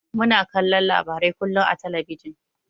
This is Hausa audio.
Muna kallon labarai kullun a talabijin.